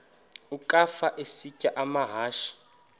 ukafa isitya amahashe